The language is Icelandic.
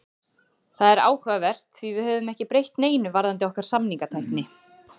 Það er áhugavert því við höfum ekki breytt neinu varðandi okkar samningatækni.